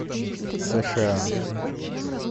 сша